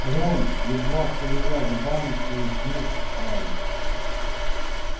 рон едва шевеля губами произнёс гарри